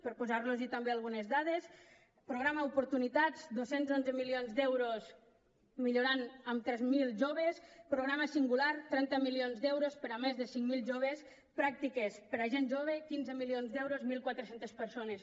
per posar los també algunes dades programa oportunitats dos cents i onze milions d’euros millorant en tres mil joves programa singular trenta milions d’euros per a més de cinc mil joves pràctiques per a gent jove quinze milions d’euros mil quatre cents persones